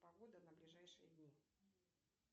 погода на ближайшие дни